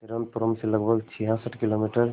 तिरुवनंतपुरम से लगभग छियासठ किलोमीटर